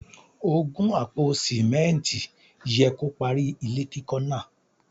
Ògùn àpò Símẹ́ǹtì yẹ kó parí ilé kíkọ́ náà.